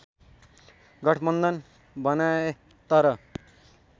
गठबन्धन बनाए तर